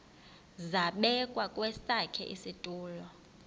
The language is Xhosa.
zabekwa kwesakhe isitulo